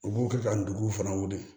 U b'u kɛ ka nduguw fana wuli